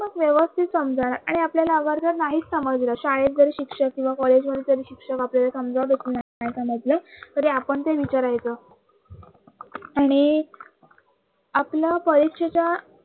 कि मग व्यवस्थित समजाऊ आणि आपल्याला अगर नाहीच समजलं शाळेत जर शिक्षक किंवा college मध्ये तरी शिक्षक आपल्याला समजवतच नाही असं काय म्हंटल तरी आपण ते विचारायचं आणि आपल परीक्षेच्या